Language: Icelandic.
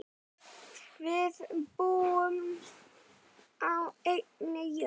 Við búum á einni jörð.